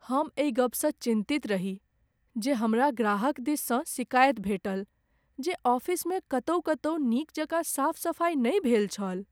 हमरा एहि गपसँ चिन्तित रही जे हमरा ग्राहक दिससँ सिकाइत भेटल जे ऑफिसमे कतहुँ कतहुँ नीक जकाँ साफ सफाइ नहि भेल छल।